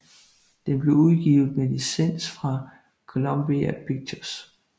Den blev udgivet med licens fra Columbia Pictures